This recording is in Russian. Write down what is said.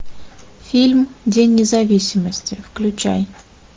фильм день независимости включай